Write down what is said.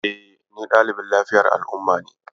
E, ni ɗalibin lafiyar al'umma ne.